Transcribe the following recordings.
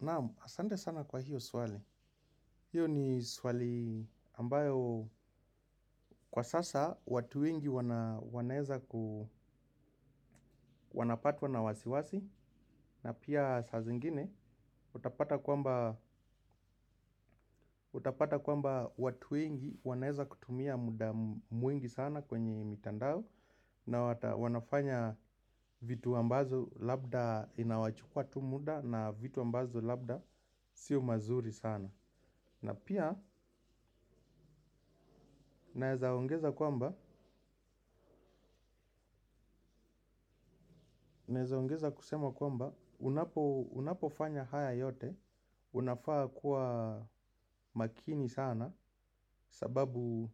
Naam, asante sana kwa hiyo swali. Hiyo ni swali ambayo kwa sasa watu wengi wanaweza kupatwa na wasiwasi. Na pia saa zingine utapata kwamba utapata kwamba watu wengi wanaweza kutumia muda mwingi sana kwenye mitandao. Na wanafanya vitu ambazo labda inawachukua tu muda na labda vitu ambazo si mazuri sana na pia naweza ongeza kwamba naweza ongeza kusema kwamba, unapofanya haya yote, unafaa kuwa makini sana, sababu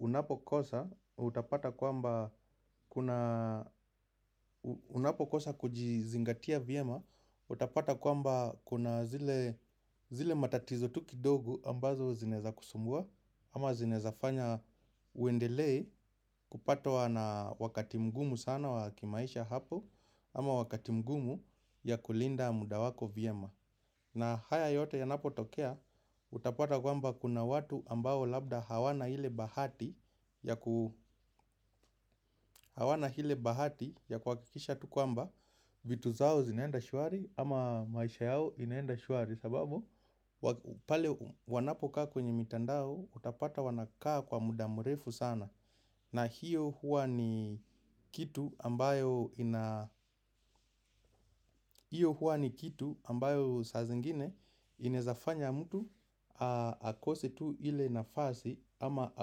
unapokosa, utapata kwamba, unapokosa kujizingatia vyema, utapata kwamba kuna zile matatizo tu kidogo ambazo zinezaweza kusumbua, ama zinewezafanya uendelee kupatwa na wakati mgumu sana wa kimaisha hapo. Ama wakati mgumu ya kulinda muda wako vyema. Na haya yote yanapo tokea utapata kwamba kuna watu ambao labda hawana ile bahati ya ku hawana ile bahati ya kuhakikisha tu kwamba vitu zao zinaenda shwari ama maisha yao inaenda shwari kwa sababu pale wanapokaa kwenye mitandao utapata wanakaa kwa muda mrefu sana na hiyo huwa ni kitu ambayo saa zingine inaweza fanya mtu akose tu ile nafasi ama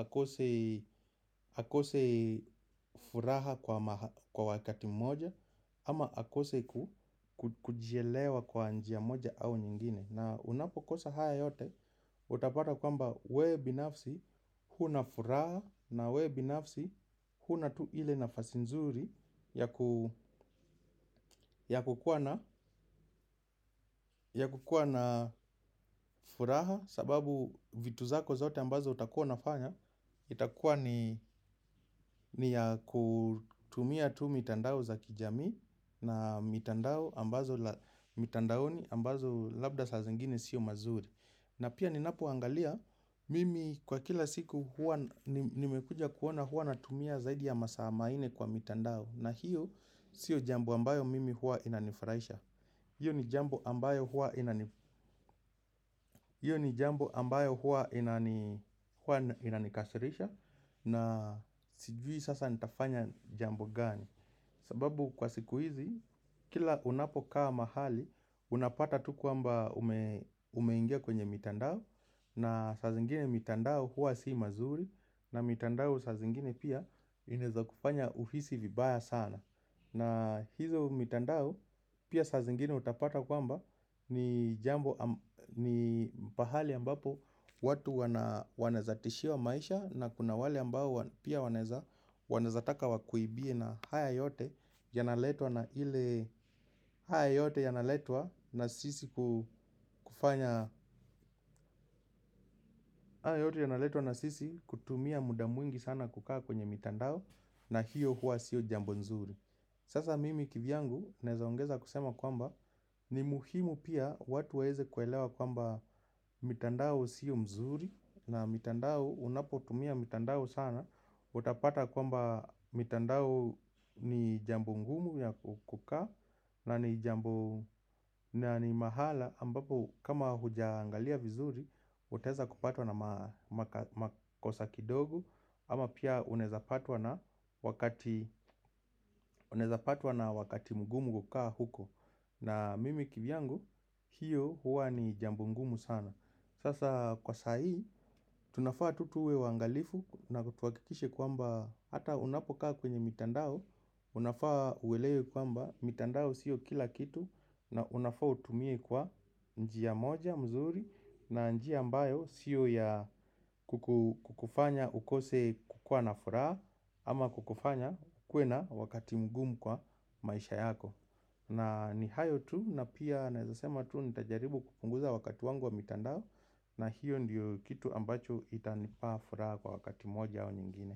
akose furaha kwa wakati moja ama akose kujielewa kwa njia moja au nyingine. Na unapo kosa haya yote utapata kwamba we binafsi huna furaha na we binafsi huna tu ile nafasi nzuri ya ku ya kukuwa na furaha sababu vitu zako zote ambazo utakuwa unafanya itakuwa ni ya kutumia tu mitandao za kijami na mitandaoni ambazo labda saa zingine sio mazuri. Na pia ninapo angalia mimi kwa kila siku huwa nimekuja kuona huwa natumia zaidi ya masaa maine kwa mtandao na hiyo sio jambo ambayo mimi huwa inanifurahisha. Hiyo ni jambo ambayo huwa inanikasirisha na sijui sasa nitafanya jambo gani. Sababu kwa siku hizi kila unapo kaa mahali unapata tu kwamba ume ingia kwenye mitandao na saa zingine mitandao huwa si mazuri na mitandao saa zingine pia inaweza kufanya uhisi vibaya sana. Na hizo mitandao pia sa zingine utapata kwamba ni jambo ni pahali ambapo watu wans wanawezatishiwa maisha na kuna wale ambao pia wanaweza wanawezataka wa kuibie na haya yote yanaletwa na ile haya yote yanaletwa na sisi kufanya haya yote yanaletwa na sisi kutumia muda mwingi sana kukaa kwenye mtandao na hiyo huwa siyo jambo nzuri. Sasa mimi kivyangu neweza ongeza kusema kwamba ni muhimu pia watu waeze kuelewa kwamba mitandao sio mzuri na mitandao unapotumia mitandao sana. Utapata kwamba mitandao ni jambo ngumu ya kukaa na ni mahala ambapo kama hujaangalia vizuri utaweza kupatwa na makosa kidogo ama pia unaweza patwa na wakati mgumu kukaa huko. Na mimi kivyangu hiyo huwa ni jambo ngumu sana. Sasa kwa sahii tunafaa tu tuwe waangalifu na tuhakikishe kwamba hata unapokaa kwenye mitandao. Unafaa uelewe kwamba mitandao siyo kila kitu na unafaa utumie kwa njia moja mzuri. Na njia ambayo siyo ya kukufanya ukose kukua na furaha ama kukufanya ukuwe na wakati mgumu kwa maisha yako. Na ni hayo tu na pia naweza sema tu nitajaribu kupunguza wakati wangu wa mitandao. Na hiyo ndiyo kitu ambacho itanipa furaha kwa wakati moja au nyingine.